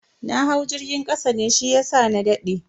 Na hau jirgin kasa ne shiyasa na dade.